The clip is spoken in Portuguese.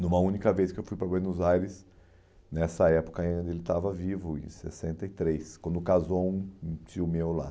Numa única vez que eu fui para Buenos Aires, nessa época ainda ele estava vivo, em sessenta e três, quando casou um um tio meu lá.